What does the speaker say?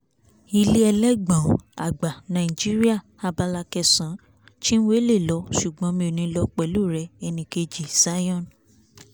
ilé elégbọ̀n-ọn àgbà nàìjíríà abala kẹsàn-án chinwe lè lọ ṣùgbọ́n mi ò ní lọ pẹ̀lú rẹ̀ ẹnìkejì zion